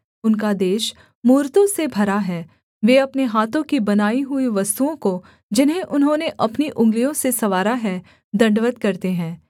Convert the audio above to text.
उनका देश मूरतों से भरा है वे अपने हाथों की बनाई हुई वस्तुओं को जिन्हें उन्होंने अपनी उँगलियों से संवारा है दण्डवत् करते हैं